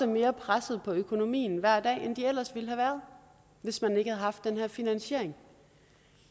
mere presset på økonomien hver dag end de ellers ville have været hvis man ikke havde haft den her finansiering